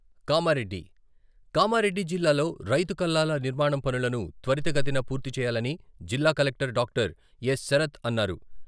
కామారెడ్డి, కామారెడ్డి జిల్లాలో రైతు కల్లాల నిర్మాణం పనులను త్వరిత గతిన పూర్తి చేయాలని జిల్లా కలెక్టర్ డాక్టర్ ఎ.శరత్ అన్నారు.